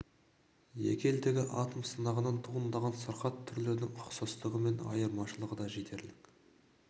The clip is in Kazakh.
екі елдегі атом сынағынан туындаған сырқат түрлерінің ұқсастығы мен айырмашылығы да жетерлік